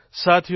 સાથીઓ